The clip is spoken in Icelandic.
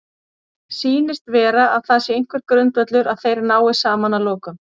Sýnist vera að það sé einhver grundvöllur að þeir nái saman að lokum?